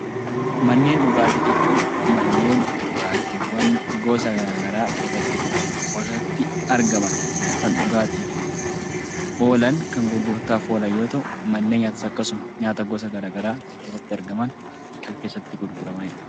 Manneen dhugaatii jechuun manneen dhugaatiiwwan gosa gara garaa keessatti kuufaman keessatti argaman, kan dhugaatiif oolan, kan gurgurtaaf oolan yoo ta'u; manni nyaataas akkasuma. Nyaata gosa gara garaa kan keessatti argaman, kan keessatti gurguramani dha.